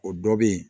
O dɔ be yen